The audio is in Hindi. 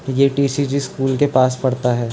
ये टी.सी.जी स्कूल के पास पड़ता है।